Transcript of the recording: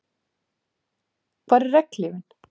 Hvar er regnhlífin?